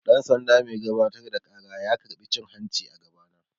Dan-sanda mai gabatar da ƙara ya karɓa cin-hanci a gaba na.